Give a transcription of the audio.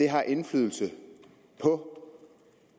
har indflydelse på